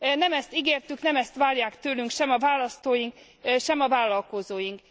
Nem ezt ígértük, nem ezt várják tőlünk sem a választóink, sem a vállalkozóink.